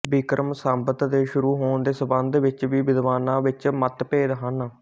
ਵਿਕਰਮਸੰਵਤ ਦੇ ਸ਼ੁਰੂ ਹੋਣ ਦੇ ਸੰਬੰਧ ਵਿੱਚ ਵੀ ਵਿਦਵਾਨਾਂ ਵਿੱਚ ਮੱਤਭੇਦ ਹਨ